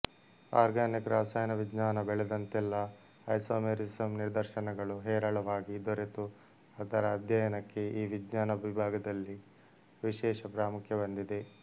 organic ರಸಾಯನವಿಜ್ಞಾನ ಬೆಳೆದಂತೆಲ್ಲ isomerism ನಿದರ್ಶನಗಳು ಹೇರಳವಾಗಿ ದೊರೆತು ಅದರ ಆಧ್ಯಯನಕ್ಕೆ ಈ ವಿಜ್ಞಾನ ವಿಭಾಗದಲ್ಲಿ ವಿಶೇಷ ಪ್ರಾಮುಖ್ಯ ಬಂದಿದೆ